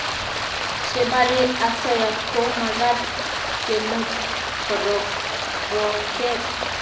che barie asoya ko magat kemut korokroret